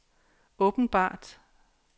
åbenbart